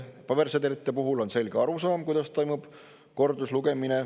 Pabersedelite puhul on selge arusaam, kuidas toimub korduslugemine.